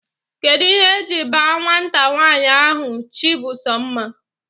Kedụ ihe e ji baa nwata nwanyị ahụ 'Chimbusomma'?